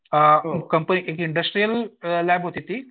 अ company industrial lab होती ती